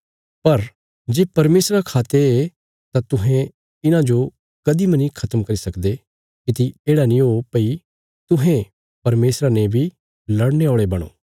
पर जे परमेशरा खा ते हये तां तुहें इन्हांजो कदीं मनी खत्म करी सकदे किति येढ़ा नीं हो भई तुहें परमेशरा ने बी लड़ने औल़े बणो